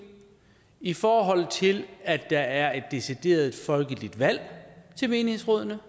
i forhold til at der er et decideret folkeligt valg til menighedsrådene